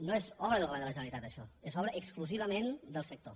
no és obra del govern de la generalitat això és obra exclusivament del sector